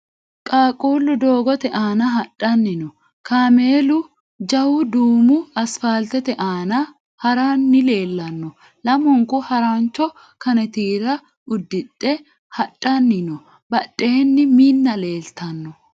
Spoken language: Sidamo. Qaaqquullu doogote aana hadhanni no. Kaameelu jawu duumu asfaaltete aana haranni leellanno. Lamunku harancho kanitiira udhidhe hadhanni no. Badheenni Minna leeltanno.